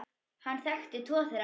Hann þekkti tvo þeirra.